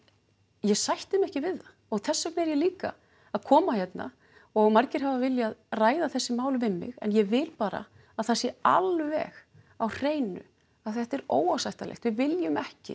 ég sætti mig ekki við það og þess vegna er ég líka að koma hérna og margir hafa viljað ræða þessi mál við mig en ég vil bara að það sé alveg á hreinu að þetta er óásættanlegt við viljum ekki